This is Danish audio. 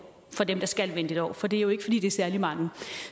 for dem der skal vente et år for det er jo ikke særlig mange